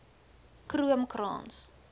kroomkrans